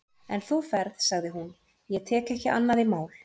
En þú ferð, sagði hún, ég tek ekki annað í mál.